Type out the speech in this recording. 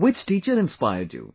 Which teacher inspired you